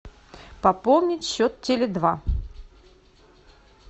пополнить счет теле два